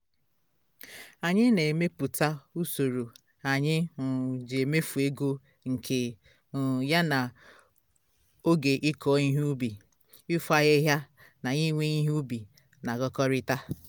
anyị na emepụta usoro anyị um ji emefu ego nke um ya na oge ikọ ihe ubi ịfo ahịhịa na iwe ihe ubi na agakọrịta